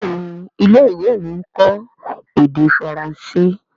Béèni ilé-ìwé mí nkọ èdè Faransé.